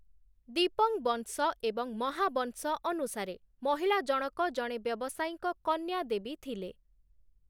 ଦୀପଂବଂଶ ଏବଂ ମହାବଂଶ ଅନୁସାରେ, ମହିଳା ଜଣକ ଜଣେ ବ୍ୟବସାୟୀଙ୍କ କନ୍ୟା ଦେବୀ ଥିଲେ ।